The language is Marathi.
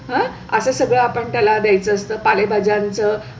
असं सगळं आपण त्याला द्यायचं असतं. पालेभाज्यांचं